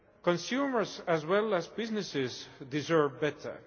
Consumers as well as businesses deserve better.